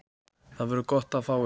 Það verður gott að fá ykkur.